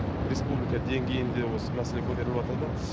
республика деңгейінде осы мәселе көтеріліватыр да